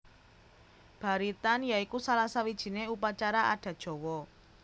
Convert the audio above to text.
Baritan ya iku salah sawijiné upacara adat Jawa